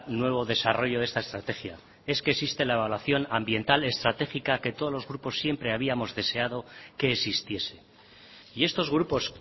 nuevo desarrollo de esta estrategia es que existe la evaluación ambiental estratégica que todos los grupos siempre habíamos deseado que existiese y estos grupos